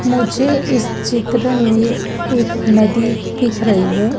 मुझे इस चित्र में एक नदी दिख रही हैं।